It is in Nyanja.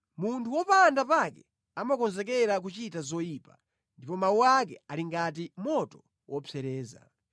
Munthu wopanda pake amakonzekera kuchita zoyipa ndipo mawu ake ali ngati moto wopsereza.